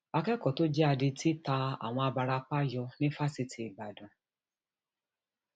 akẹkọọ tó jẹ adití ta àwọn abarapá yọ ní fásitì ìbàdàn